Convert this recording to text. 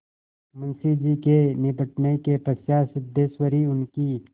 मुंशी जी के निबटने के पश्चात सिद्धेश्वरी उनकी